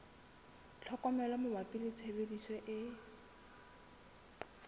tlhokomelo mabapi le tshebediso e